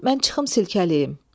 mən çıxım silkələyim.